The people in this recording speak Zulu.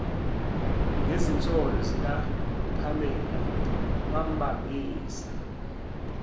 ngezinsolo zikapamela wambambisa